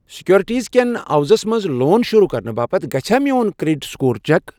Securities کیٚن عِوزَس منٛز لون شروٗع کرنہٕ باپتھ گَژھیٚا میون کرڑیٹ سکور چیک؟